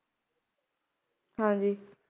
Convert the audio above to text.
ਹਾਂਜੀ